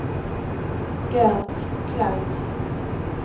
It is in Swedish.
Gert Klang